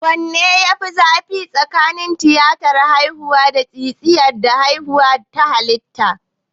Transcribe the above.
Wanne ne ya fi zafi tsakanin tiyatar haihuwa ta siseriyan da haihuwa ta halitta?